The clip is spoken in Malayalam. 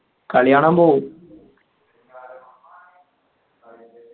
കളികാണാൻ പോവും